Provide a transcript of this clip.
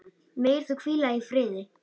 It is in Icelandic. Megir þú hvíla í friði.